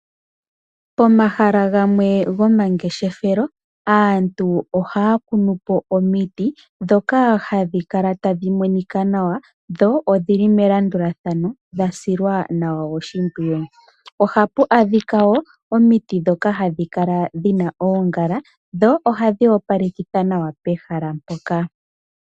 Pomahala gamwe go mangeshefelo, aantu ohaya kunu po omiti ndhoka hadhi kala tadhi monika nawa, dho odhili melandulathano dha silwa nawa oshipwiyu. Ohapu adhika wo omiti ndhoka hadhi kala dhina oongala dho ohadhi opalekitha nawa pehala mpoka.